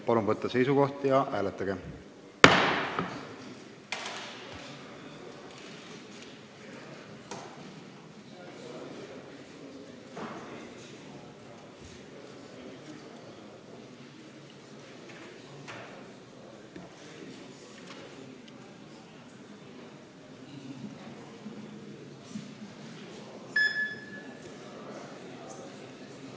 Palun võtta seisukoht ja hääletada!